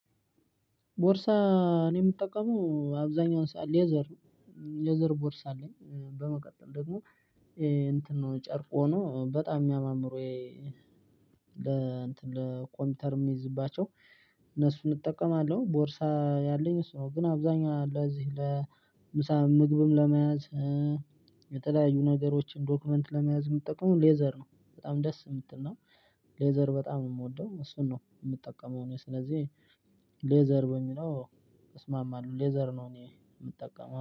ቦርሳ እኔ የምጠቀመው አብዛኛውን ሰዓት ሌዘር ነው ሌዘር ቦርሳ አለኝ። በመቀጠል ደግሞ እንትን ነው ጨርቅ ሆኖ በጣም የሚያማምሩ ለእንትን ለኮምፒውተር የምይዝባቸው እነሱን እጠቀማለው ቦርሳ ያለኝ እሱ ነው። ግን አብዛኛው ለዚህ ለምሳ ምግብም ለመያዝ የተለያዩ ነገሮችን ዶክመንት ለመያዝ የምጠቀመው ሌዘር ነው። በጣም ደስ የምትል ነው። ሌዘር በጣም ነው የምወደው እሱን ነው የምጠቀመው። እኔ ስለዚህ ሌዘር በሚለው እስማማለሁ ሌዘር ነው እኔ የምጠቀመው